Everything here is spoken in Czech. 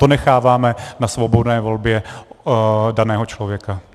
To necháváme na svobodné volbě daného člověka.